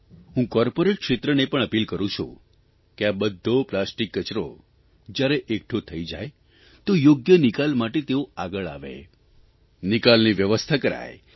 હું કોર્પોરેટ ક્ષેત્રને પણ અપીલ કરૂં છું કે આ બધ્ધો પ્લાસ્ટિક કચરો જ્યારે એકઠો થઇ જાય તો યોગ્ય નિકાલ માટે તેઓ આગળ આવે નિકાલની વ્યવસ્થા કરાય